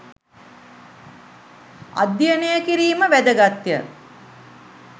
අධ්‍යයනය කිරීම වැදගත්ය